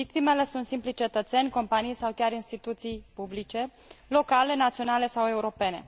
Victimele sunt simplii cetățeni, companii sau chiar instituții publice, locale, naționale sau europene.